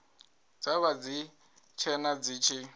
dza vha dzitshena dzi tshi